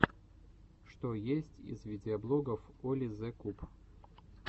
что есть из видеоблогов оли зе куб